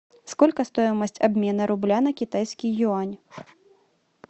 сколько стоимость обмена рубля на китайский юань